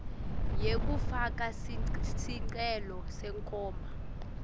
yekufaka sicelo senkhomba